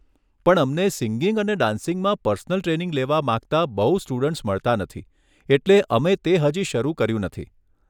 પણ અમને સિંગિંગ અને ડાન્સિંગમાં પર્સનલ ટ્રેનિંગ લેવા માંગતા બહું સ્ટુડન્ટ્સ મળતા નથી એટલે અમે તે હજી શરૂ કર્યું નથી.